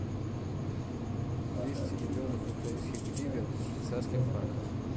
двести миллионов украинских гривен в швейцарских франках